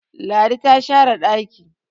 Ladi ta share daki